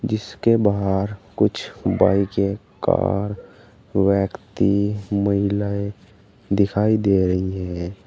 जिसके बाहर कुछ बाइके कार व्यक्ति महिलाएं दिखाई दे रही हैं।